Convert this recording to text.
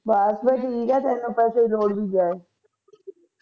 ਬਸ ਫਿਰ ਠੀਕ ਆ ਫਿਰ ਤੈਨੂੰ ਲੋੜ ਨੀ ਜਾਏ